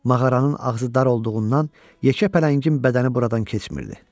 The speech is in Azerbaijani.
Mağaranın ağzı dar olduğundan yekə pələngin bədəni buradan keçmirdi.